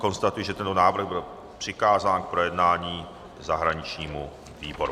Konstatuji, že tento návrh byl přikázán k projednání zahraničnímu výboru.